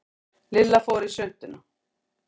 Lilla fór í svuntuna.